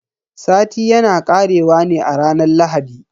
Sati yana karewa ne a ranar Lahadi.